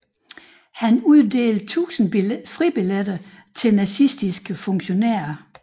Han uddelte tusind fribilletter til nazistiske funktionærer